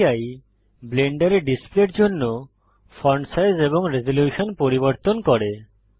DPI ব্লেন্ডারে ডিসপ্লের জন্য ফন্ট সাইজ এবং রেজল্যুশন পরিবর্তন করে